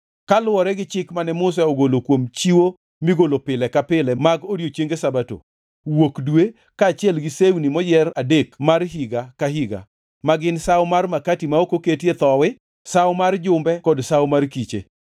kaluwore gi chik mane Musa ogolo kuom chiwo migolo pile ka pile mag odiechienge Sabato, Wuok Dwe, kaachiel gi sewni moyier adek mag higa ka higa ma gin Sawo mar makati ma ok oketie thowi, gi Sawo mar Jumbe kod Sawo mar Kiche.